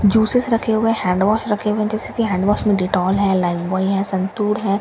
Juices रखे हुए हैं हैंडवॉश रखे हुए हैं जैसे की हैंडवॉश में दिटौल है लाइबबॉय है संतूर है ।